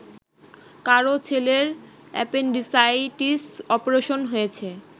কারও ছেলের appendicitis operation হয়েছে